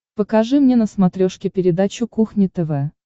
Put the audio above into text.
покажи мне на смотрешке передачу кухня тв